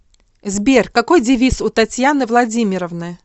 сбер какой девиз у татьяны владимировны